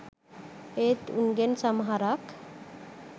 ඒත් උන්ගෙන් සමහරක් .